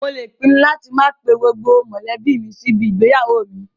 Mo lè pinnu láti máa pe gbogbo mọ̀lẹ́bí mi sí ibi igbéyàwó mi